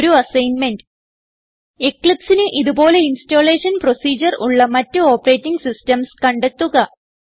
ഒരു അസ്സൈൻമെന്റ് Eclipseന് ഇത് പോലെ ഇൻസ്റ്റലേഷൻ പ്രൊസിഡ്യൂർ ഉള്ള മറ്റ് ഓപ്പറേറ്റിംഗ് സിസ്റ്റംസ് കണ്ടെത്തുക